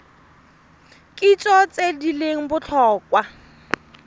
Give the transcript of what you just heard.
kitso tse di leng botlhokwa